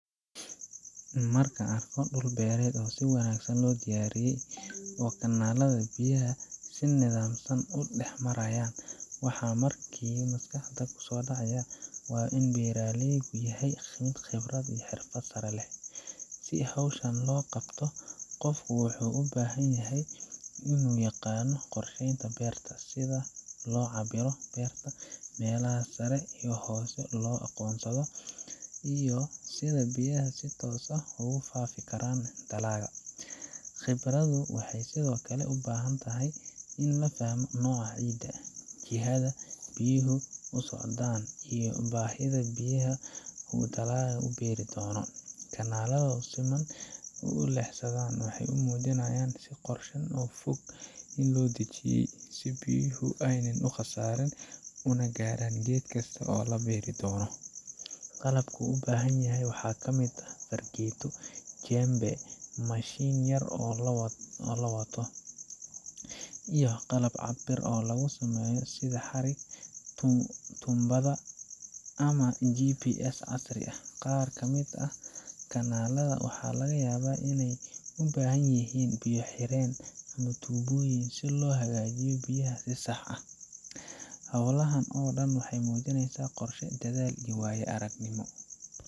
Marka aan arko dhul beer ah oo si wanaagsan loo diyaariyey, oo kanaalada biyaha si nidaamsan u dhex marayaan, waxa markiiba maskaxda ku soo dhaca waa in beeraleygu leeyahay khibrad iyo xirfad sare. Si hawshan loo qabto, qofku wuxuu u baahan yahay in uu yaqaan qorsheynta beerta, sida loo cabbiro beerta, meelaha sare iyo hoose loo aqoonsado, iyo sida biyaha si toos ah ugu faafi karaan dalagga. Khibraddu waxay sidoo kale u baahan tahay in la fahmo nooca ciidda, jihada biyuhu u socdaan, iyo baahida biyaha ee dalagga la beeri doono. Kanaalada si siman u leexsanaya waxay muujinayaan in qorshe fog la dejiyey, si biyuhu aanay u khasaarin una gaaraan geed kasta oo la beeri doono. Qalabka loo baahan yahay waxaa ka mid ah fargeeto, jembe, mashiin yar oo la wato , iyo qalab cabbir lagu sameeyo sida xarig, tuumbada ama GPS casri ah. Qaar ka mid ah kanaalada waxaa laga yaabaa in ay u baahan yihiin biyo-xireenno ama tuubooyin si loo hago biyaha si sax ah. Hawlahan oo dhan waxay muujinayaan qorshe, dadaal iyo waayo-aragnimo